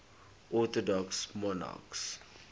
orthodox monarchs